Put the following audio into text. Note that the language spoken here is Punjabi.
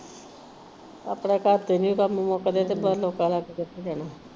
ਆਪਣਾ ਘਰ ਚ ਨਹੀ ਕੰਮ ਮੁੱਕਦੇ ਤੇ ਬਾਹਰ ਲੋਕਾਂ ਦਾ ਕੀ ਕੁਝ ਦੇਣਾ।